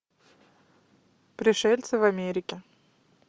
пришельцы в америке